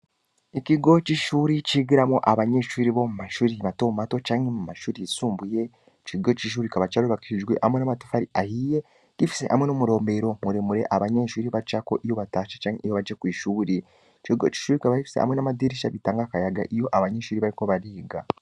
ikigo c'ishuri cigiramwo abanyeshuri bo mu mashuri matomato canke mu mashuri yisumbuye, ico kigo c'ishuri kikaba carubakishijwe hamwe n'amatafari ahiye, gifise hamwe n'umuromero muremure abanyeshuri bacako iyo batashe canke iyo baje kw'ishuri. ico kigo c'ishuri kikaba gifise hamwe n'amadirisha atanga akayaga iyo abanyeshuri bariko bariga.